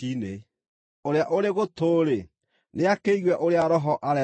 Ũrĩa ũrĩ gũtũ-rĩ, nĩakĩigue ũrĩa Roho areera makanitha.